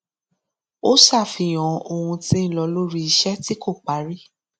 ó ṣàfihàn ohun tí ń lọ lórí iṣẹ tí kò parí